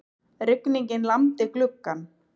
Rigningin lamdi gluggann.